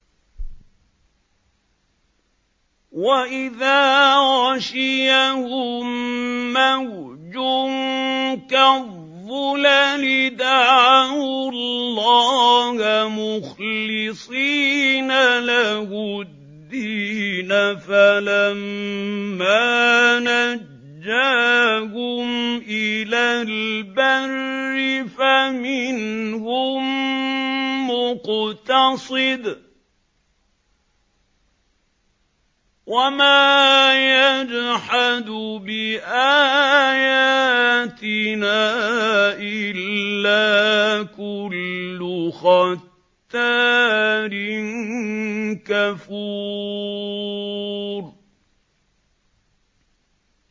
وَإِذَا غَشِيَهُم مَّوْجٌ كَالظُّلَلِ دَعَوُا اللَّهَ مُخْلِصِينَ لَهُ الدِّينَ فَلَمَّا نَجَّاهُمْ إِلَى الْبَرِّ فَمِنْهُم مُّقْتَصِدٌ ۚ وَمَا يَجْحَدُ بِآيَاتِنَا إِلَّا كُلُّ خَتَّارٍ كَفُورٍ